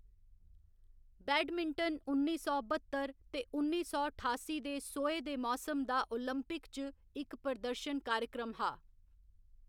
Badminton उन्नी सौ बत्तर ते उन्नी सौ ठासी दे सोहे दे मौसम दा ओलंपिक च इक प्रदर्शन कार्यक्रम हा।